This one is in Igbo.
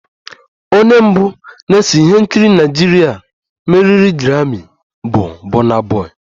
Onye mbụ na-ese ihe nkiri Naịjirịa meriri grammi bụ burna boy